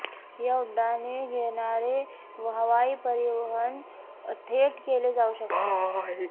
या उड्डाणे घेणारे हवाई परिवहन थेट केले जाऊ शकते